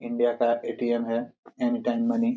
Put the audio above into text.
India का ATM है any time money --